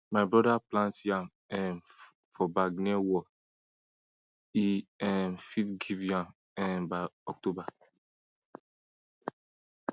my broda plant yam um for bag near wall e um fit get yam um by october